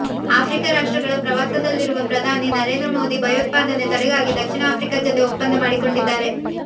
Africa ರಾಷ್ಟ್ರಗಳ ಪ್ರವಾಸದಲ್ಲಿರುವ ಪ್ರಧಾನಿ ನರೇಂದ್ರ ಮೋದಿ ಭಯೋತ್ಪಾದನೆ ತಡೆಗಾಗಿ ದಕ್ಷಿಣ ಆಫ್ರಿಕಾ ಜತೆ ಒಪ್ಪಂದ ಮಾಡಿಕೊಂಡಿದ್ದಾರೆ